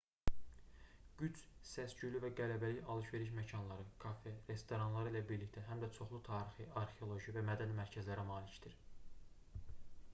qüds səs-küylü və qələbəlik alış-veriş məkanları kafe restoranları ilə birlikdə həm də çoxlu tarixi arxeoloji və mədəni mərkəzlərə malikdir